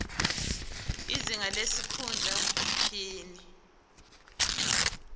izinga lesikhundla iphini